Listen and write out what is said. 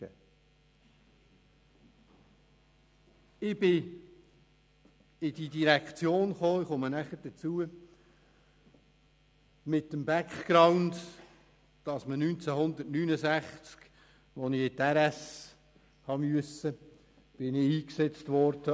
Ich kam in diese Direktion mit dem Background, dass ich 1969, als ich die RS absolvierte, als Funker eingesetzt wurde.